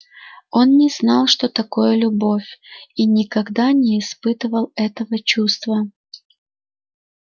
он не знал что такое любовь и никогда не испытывал этого чувства